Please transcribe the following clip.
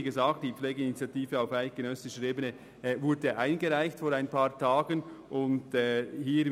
Wie gesagt wurde auf eidgenössischer Ebene vor ein paar Tagen die «Pflegeinitiative» eingereicht.